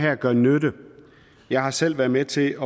gør nytte jeg har selv været med til